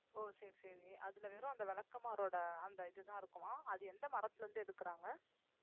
ஓ சரி சரி அதிலே வெறும் அந்த விளக்குமாறோட அந்த இதுதான் இருக்குமா அது எந்த மரத்திலே இருந்து எடுக்குறாங்க